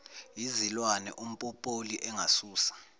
yizilwane umpopoli engasusa